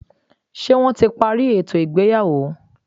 Ṣé wọ́n ti parí ètò ìgbéyàwó?